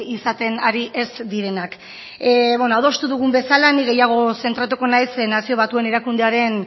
izaten ari ez direnak beno adostu dugun bezala ni gehiago zentratuko naiz nazio batuen erakundearen